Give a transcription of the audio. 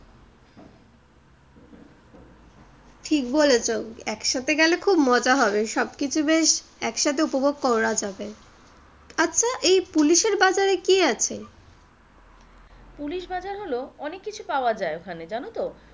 ঠিক বলেছো একসাথে গেলে খুব মজা হবে সবকিছু বেশ একসাথে উপভোগ করা যাবে। আচ্ছা এই পুলিশের বাজারে কি আছে? পুলিশ বাজার হলো অনেক কিছু পাওয়া যায় ওখানে জানোতো?